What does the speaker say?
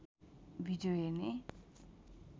video हेर्ने